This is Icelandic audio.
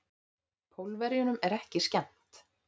Pólverjunum er ekki skemmt.